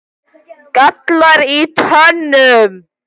gallar í tönnum